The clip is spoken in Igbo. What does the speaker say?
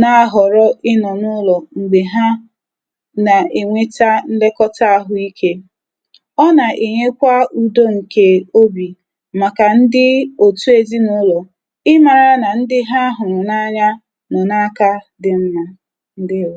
na-ahọ̀rọ ịnọ̀ n’ụlọ̀ m̀gbè ha na-enweta nlekọta ahụike. Ọ nà-ènyekwa ụ̀dọ ǹkè obì màkà ndị òtù ezi nà ụlọ̀ ịmara na ndi ha huru na-anya nọ aka di nma. Ndewo!